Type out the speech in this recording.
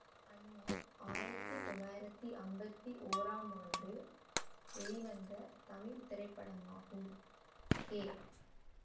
அண்ணி ஆயிரத்தி தொள்ளாயிரத்தி ஐம்பத்தி ஒறாம் ஆண்டு வெளிவந்த தமிழ் திரைப்படமாகும் கே